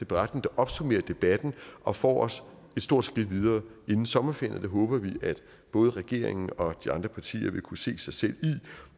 beretning der opsummerer debatten og får os et stort skridt videre inden sommerferien og det håber vi både regeringen og de andre partier vil kunne se sig selv i